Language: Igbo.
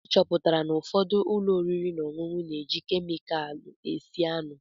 Achọpụtara n'ụfọdụ ụlọ oriri na ọṅụṅụ na-eji kemịkalụ esi anụ.